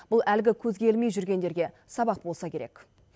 бұл әлгі көзге ілмей жүргендерге сабақ болса керек